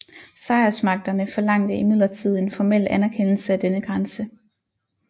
Sejrsmagterne forlangte imidlertid en formel anerkendelse af denne grænse